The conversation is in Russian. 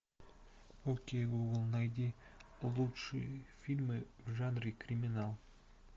окей гугл найди лучшие фильмы в жанре криминал